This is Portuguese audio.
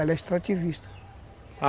Ela é extrativista.